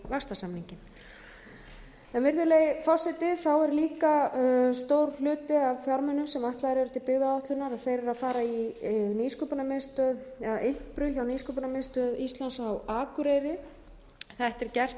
vaxtarsamninginn virðulegi forseti þá er líka stór hluti af fjármunum sem ætlaðir eru til byggðaáætlunar þeir eru að fara í impru hjá nýsköpunarmiðstöð íslands á akureyri þetta er gert enn þá hefur verið svona